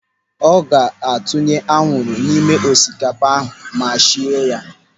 Ọ ga-etinye anwụrụ n'ime osikapa ahụ ma sie ya.